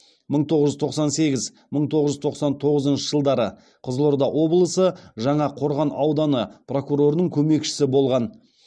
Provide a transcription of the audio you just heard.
мың тоғыз жүз тоқсан сегіз мың тоғыз жүз тоқсан тоғызыншы жылдары қызылорда облысы жаңақорған ауданы прокурорының көмекшісі болған